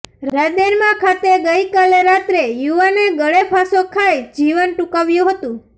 રાંદેરમાં ખાતે ગઈકાલે રાત્રે યુવાને ગળેફાંસો ખાઇ જીવન ટૂંકાવ્યું હતું